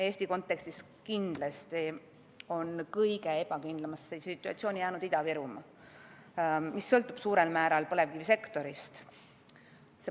Eesti kontekstis on kindlasti kõige ebakindlamasse situatsiooni jäänud Ida-Virumaa, mis sõltub suurel määral põlevkivisektorist.